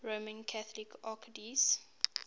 roman catholic archdiocese